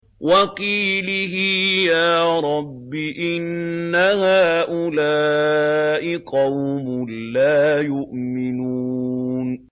وَقِيلِهِ يَا رَبِّ إِنَّ هَٰؤُلَاءِ قَوْمٌ لَّا يُؤْمِنُونَ